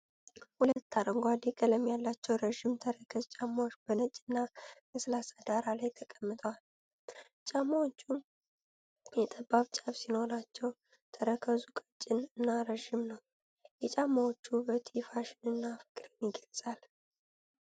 ሁለት አረንጓዴ ቀለም ያላቸው ረዥም ተረከዝ ጫማዎች በነጭና ለስላሳ ዳራ ላይ ተቀምጠዋል። ጫማዎቹ ጠባብ ጫፍ ሲኖራቸው፣ ተረከዙ ቀጭን እና ረጅም ነው። የጫማዎቹ ውበት የፋሽን እና ፍቅርን ይገልፃል።